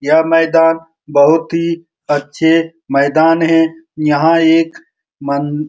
यह मैदान बहुत ही अच्छे मैदान हैं | यहाँ एक मं --